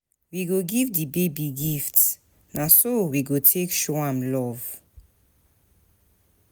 We go give di baby gifts, na so we go take show am love.